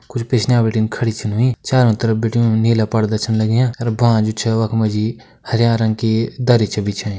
कुछ पिछनै बटिन खड़ी छन हुई चारो तरफ बटिन नीला पर्दा छन लग्या अर बाँझू छ वखमा जी हर्या रंग की दरी छ बिछाई।